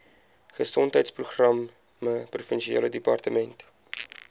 gesondheidsprogramme provinsiale departement